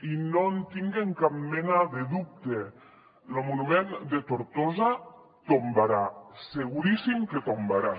i no en tinguen cap mena de dubte lo monument de tortosa tombarà seguríssim que tombarà